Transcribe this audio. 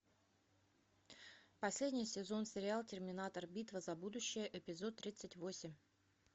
последний сезон сериал терминатор битва за будущее эпизод тридцать восемь